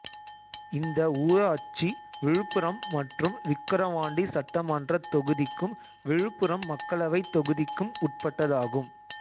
இந்த ஊராட்சி விழுப்புரம் மற்றும் விக்கிரவாண்டி சட்டமன்றத் தொகுதிக்கும் விழுப்புரம் மக்களவைத் தொகுதிக்கும் உட்பட்டதாகும்